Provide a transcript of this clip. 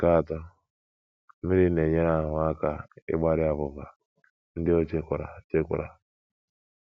Nke atọ, mmiri na - enyere ahụ́ aka ịgbari abụba ndị o chekwara chekwara.